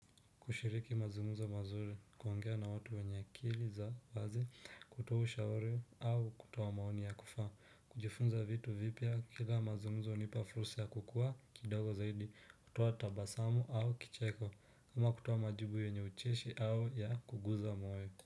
Kushiriki mazungumzo mazuri kuongea na watu wenye akili za wazi kutoa ushauri au kutoa maoni ya kufaa kujifunza vitu vipya kila mazungumzo unipa fursa ya kukua kidogo zaidi kutoa tabasamu au kicheko kama kutoa majibu yenye ucheshi au ya kuguza moyo.